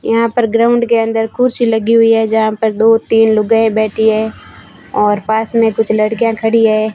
यहां पर ग्राउंड के अंदर कुर्सी लगी हुई है जहां पर दो तीन लुगाई बैठी है और पास मे कुछ लड़कियां खड़ी है।